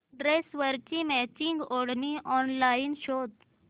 ड्रेसवरची मॅचिंग ओढणी ऑनलाइन शोध